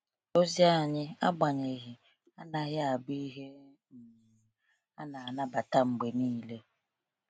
Ozi anyị, agbanyeghị, anaghị abụ ihe um a na-anabata mgbe niile.